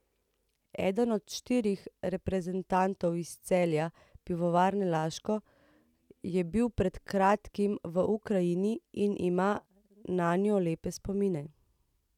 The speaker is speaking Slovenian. Eden od štirih reprezentantov iz Celja Pivovarne Laško je bil pred kratkim v Ukrajini in ima nanjo lepe spomine.